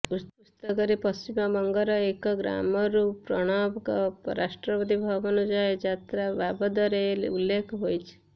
ପୁସ୍ତକରେ ପଶ୍ଚିମବଙ୍ଗର ଏକ ଗ୍ରାମରୁ ପ୍ରଣବଙ୍କ ରାଷ୍ଟ୍ରପତି ଭବନ ଯାଏଁ ଯାତ୍ରା ବାବଦରେ ଉଲ୍ଲେଖ ହୋଇଛି